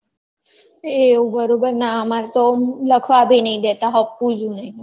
એવું બરોબર ના અમાર તો લખવાં બી નઈ દેતા હપુચું નહિ